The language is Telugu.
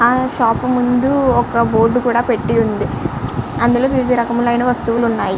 ఆ షాప్ ముందూ బోర్క కూడా పెట్టి వుంది అందులో వివిధ రకములు ఆయన వస్తువుల్లు పెట్టి వున్నాయ్.